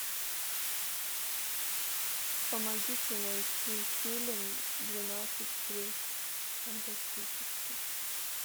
помогите найти фильм двенадцать плюс фантастический